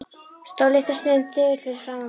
Stóð litla stund þögull fyrir framan mig.